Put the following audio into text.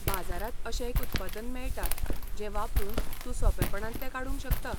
बाजारांत अशें एक उत्पादन मेळटा, जें वापरून तूं सोंपेपणान तें काडूंक शकता.